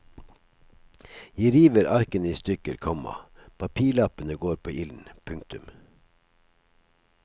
Jeg river arkene i stykker, komma papirlappene går på ilden. punktum